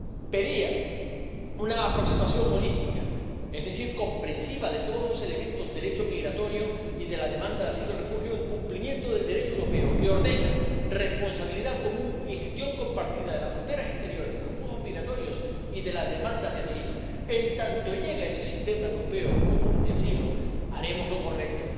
que pedía una aproximación holística, es decir, comprehensiva de todos los elementos del hecho migratorio y de la demanda de asilo y refugio, en cumplimiento del Derecho europeo, que ordena responsabilidad común y gestión compartida de las fronteras exteriores, de los flujos migratorios y de las demandas de asilo. En tanto llega ese sistema europeo común de asilo, haremos